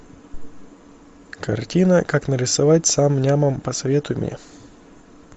картина как нарисовать сам нямом посоветуй мне